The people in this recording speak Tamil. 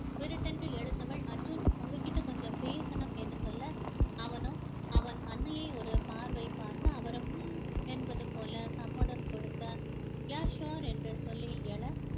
விடுக்கென்று எழுந்தவள் அர்ஜுன் உங்ககிட்ட கொஞ்சம் பேசணும் என்று சொல்ல அவனோ அவன் அன்னையை ஒரு பார்வை பார்க்க அவரும் ஹம் ஹம் என்பது போல சம்மதம் கொடுக்க yeah sure என்று சொல்லி எழ